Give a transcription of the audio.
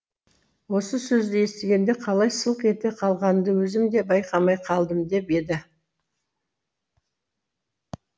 осы сөзді естігенде қалай сылқ ете қалғанымды өзім де байқамай қалдым деп еді